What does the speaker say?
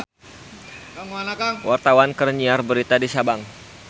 Wartawan keur nyiar berita di Sabang